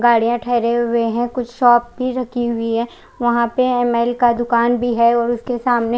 गाड़िया ठहरी हुई है कुछ शॉप भी लगी हुई है वहां पर एम_ए_एल दूकान भी है और उसके सामने--